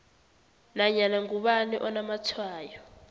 nanyana ngubani onamatshwayo